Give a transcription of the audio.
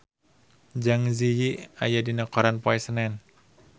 Zang Zi Yi aya dina koran poe Senen